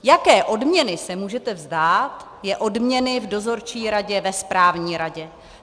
Jaké odměny se můžete vzdát, je odměny v dozorčí radě, ve správní radě.